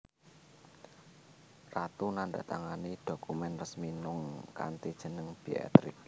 Ratu nandhatangani dhokumèn resmi mung kanthi jeneng Beatrix